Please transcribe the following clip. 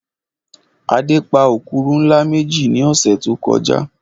Adé pa òkúrù ńlá méjì ní ọ̀sẹ̀ tó kọjá